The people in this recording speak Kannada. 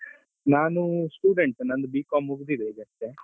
ನಾನು student ನಂದು B.Com ಮುಗ್ದಿದೆ ಈಗಷ್ಟೇ.